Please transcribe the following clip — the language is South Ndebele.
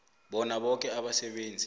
bona boke abasebenzi